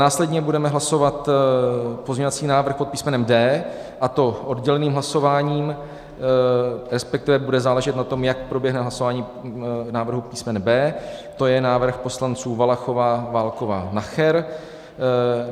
Následně budeme hlasovat pozměňovací návrh pod písmenem D, a to odděleným hlasováním, respektive bude záležet na tom, jak proběhne hlasování návrhu písmene B, to je návrh poslanců: Valachová, Válková, Nacher.